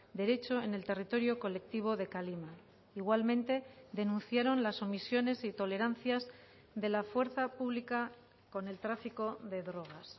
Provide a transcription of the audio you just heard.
derecho en el territorio colectivo de calima igualmente denunciaron las omisiones y tolerancias de la fuerza pública con el tráfico de drogas